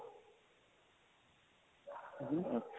ਅੱਛਾ